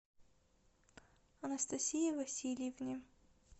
анастасии васильевне